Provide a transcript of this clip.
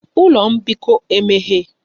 Ụlọ mbikọ emeghe?